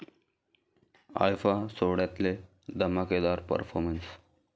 IIFA' सोहळ्यातले धमाकेदार performances